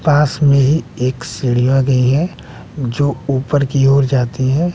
पास में ही एक सीढ़ी आ गई है जो ऊपर की ओर जाती है।